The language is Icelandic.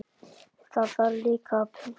Það þarf líka að punta.